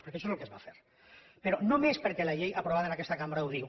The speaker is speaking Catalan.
perquè això és el que es va fer però només perquè la llei aprovada en aquesta cambra ho diu